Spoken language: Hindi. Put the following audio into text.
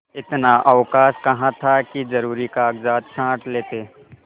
इतना अवकाश कहाँ था कि जरुरी कागजात छॉँट लेते